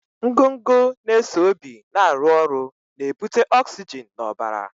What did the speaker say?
Ngụgụ na-eso obi na-arụ ọrụ na-ebute ọksijin n'ọbara.